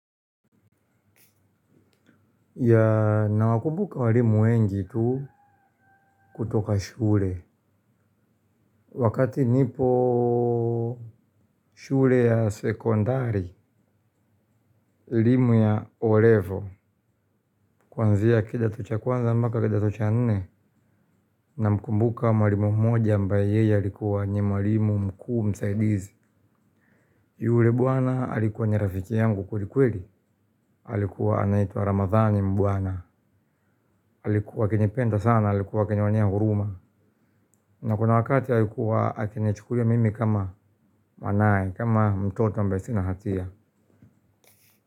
Ya nawakumbuka walimu wengi tu kutoka shule. Wakati nipo shule ya sekondari, elimu ya olevo. Kwanzia kidato cha kwanza mbaka kidato cha nne. Na mkumbuka walimu moja ambae yeye alikuwa nie walimu mkuu msaidizi. Yule bwana alikuwa nye rafiki yangu kwelikweli. Alikuwa anaitwa ramadhani mbwana. Alikuwa akinipenda sana, alikuwa kinionea huruma. Na kuna wakati alikuwa akinichukulia mimi kama manaye, kama mtoto mbe sina hatia.